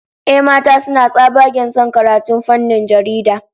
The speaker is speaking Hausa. Ehh, mata suna tsabagen son karatun fannin jarida